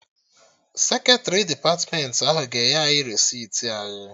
Seketrị depatmentị ahụ ga-enye anyị resiti anyị